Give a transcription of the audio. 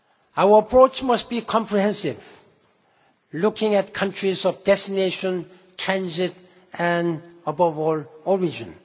Our approach must be comprehensive, looking at countries of destination, transit and, above all, origin.